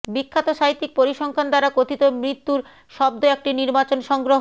বিখ্যাত সাহিত্যিক পরিসংখ্যান দ্বারা কথিত মৃত্যুর শব্দ একটি নির্বাচন সংগ্রহ